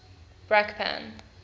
brakpan